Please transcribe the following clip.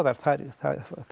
þær